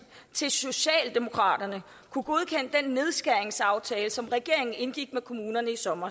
til socialdemokraterne kunne godkende den nedskæringsaftale som regeringen indgik med kommunerne i sommer